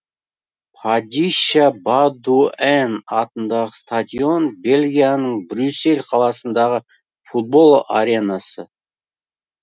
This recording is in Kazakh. падища бадуэн атындағы стадион бельгияның брюссель қаласындағы футбол аренасы